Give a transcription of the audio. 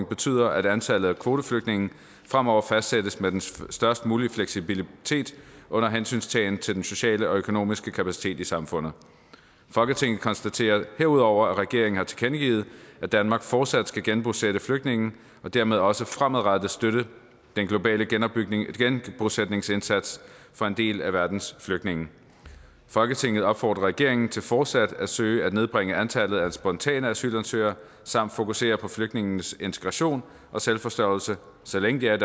betyder at antallet af kvoteflygtninge fremover fastsættes med den størst mulige fleksibilitet under hensyntagen til den sociale og økonomiske kapacitet i samfundet folketinget konstaterer herudover at regeringen har tilkendegivet at danmark fortsat skal genbosætte flygtninge og dermed også fremadrettet støtte den globale genbosætningsindsats for en del af verdens flygtninge folketinget opfordrer regeringen til fortsat at søge at nedbringe antallet af spontane asylansøgere samt fokusere på flygtninges integration og selvforsørgelse så længe de er